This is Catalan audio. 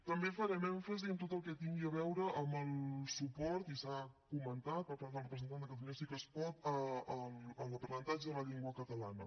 també farem èmfasi en tot el que tingui a veure amb el suport i s’ha comentat per part del representant de catalunya sí que es pot a l’aprenentatge de la llengua catalana